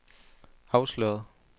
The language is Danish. afsløret